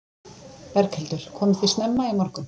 Berghildur: Komuð þið snemma í morgun?